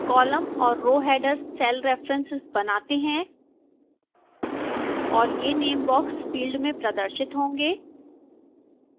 column और row headers cell references बनाते हैं और ये name box फील्ड में प्रदर्शित होंगे